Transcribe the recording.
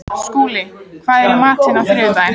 Skúli, hvað er í matinn á þriðjudaginn?